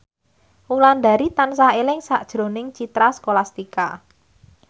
Wulandari tansah eling sakjroning Citra Scholastika